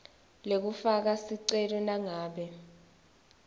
lekufaka sicelo nangabe